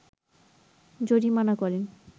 জরিমানা করেন